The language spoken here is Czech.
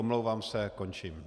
Omlouvám se, končím.